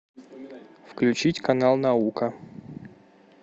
включить канал наука